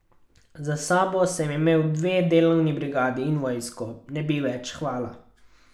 Za sabo sem imel dve delovni brigadi in vojsko, ne bi več, hvala.